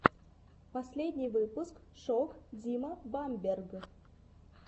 последний выпуск шок дима бамберг